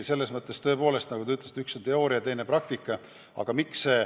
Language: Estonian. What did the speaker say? Tõepoolest, nagu te ütlesite, üks on teooria, teine praktika.